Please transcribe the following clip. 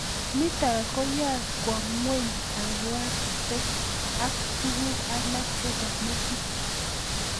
Nitok koyae kwo ng'weny kabwatet ak tuguk alak chepo metit